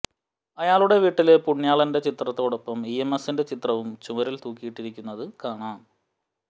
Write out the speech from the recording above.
അയാളുടെ വീട്ടില് പുണ്യാളന്റെ ചിത്രത്തിനൊപ്പം ഇ എം എസിന്റെ ചിത്രവും ചുമരില് തൂക്കിയിട്ടിരിക്കുന്നത് കാണാം